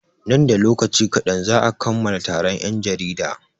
Nan da lokaci kaɗan za'a kammala taron 'yan jarida.